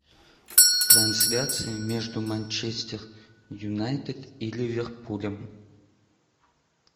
трансляция между манчестер юнайтед и ливерпулем